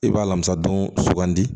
I b'a lamara don sugandi